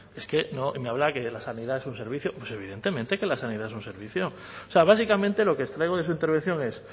es que me habla de que la sanidad es un servicio pues evidentemente que la sanidad es un servicio o sea básicamente lo que extraigo de su intervención es